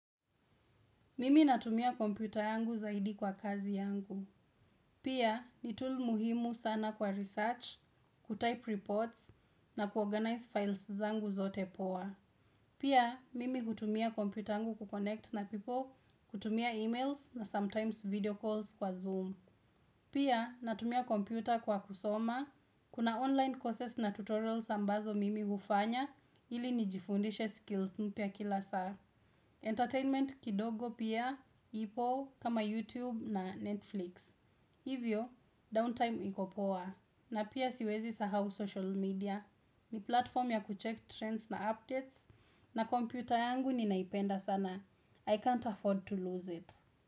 Mimi natumia kompyuta yangu zaidi kwa kazi yangu. Pia ni tool muhimu sana kwa research, kutype reports na kuorganize files zangu zote poa. Pia mimi hutumia kompyuta yangu kukonect na people, kutumia emails na sometimes video calls kwa Zoom. Pia natumia kompita kwa kusoma, kuna online courses na tutorials ambazo mimi hufanya ili nijifundishe skills mpia kila saa. Entertainment kidogo pia, ipo kama YouTube na Netflix Hivyo, downtime ikopoa na pia siwezi sahau social media ni platform ya kucheck trends na updates na kompyuta yangu ninaipenda sana I can't afford to lose it.